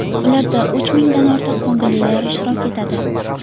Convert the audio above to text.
Ularda uch mingdan ortiq ko‘ngillilar ishtirok etadi.